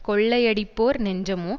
கொள்ளையடிப்போர் நெஞ்சமோ